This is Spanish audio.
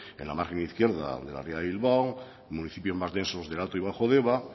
en la margen izquierda de la ría de bilbao municipios más densos de alto y bajo deba